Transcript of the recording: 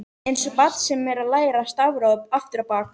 Einsog barn sem er að læra stafrófið aftur á bak.